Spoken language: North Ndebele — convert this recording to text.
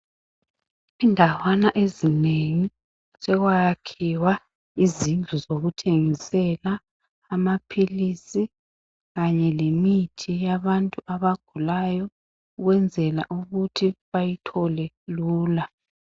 Indawana ezinengi sokwakhiwa izindlu zokuthengisela amapills kanye lemithi yabantu abagulayo ukwenzela ukuthi bayithole lula